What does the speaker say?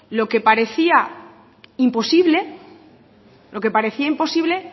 lo que parecía imposible lo que parecía imposible